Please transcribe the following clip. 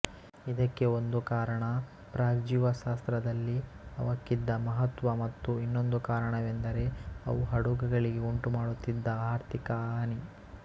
ಇದಕ್ಕೆ ಒಂದು ಕಾರಣ ಪ್ರಾಗ್ಜೀವಶಾಸ್ತ್ರದಲ್ಲಿ ಅವಕ್ಕಿದ್ದ ಮಹತ್ವ ಮತ್ತು ಇನ್ನೊಂದು ಕಾರಣವೆಂದರೆ ಅವು ಹಡಗುಗಳಿಗೆ ಉಂಟುಮಾಡುತ್ತಿದ್ದ ಆರ್ಥಿಕ ಹಾನಿ